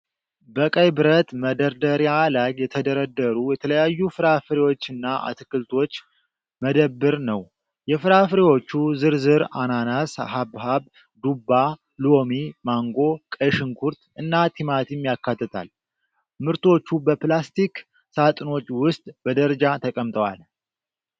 በቀይ ብረት መደርደሪያ ላይ የተደረደሩ የተለያዩ ፍራፍሬዎችና አትክልቶች መደብር ነው። የፍራፍሬዎቹ ዝርዝር አናናስ፣ ሐብሐብ፣ ዱባ፣ ሎሚ፣ ማንጎ፣ ቀይ ሽንኩርት እና ቲማቲም ያካትታል። ምርቶቹ በፕላስቲክ ሳጥኖች ውስጥ በደረጃ ተቀምጠዋል።